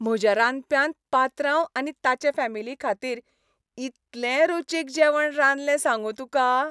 म्हज्या रांदप्यान पात्रांव आनी ताचे फामिलीखातीर इतलें रुचीक जेवण रांदलें सांगूं तुका.